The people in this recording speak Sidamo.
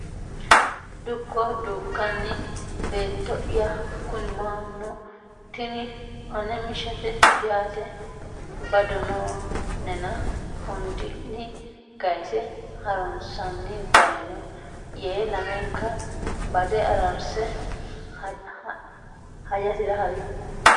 Dukko Dukkani Beetto ya kuni mannu Tini ane mishate yaate bado noo nena hundinni kayse ha runsanni dayno yee lamenka bade araarse hajasira ha ri.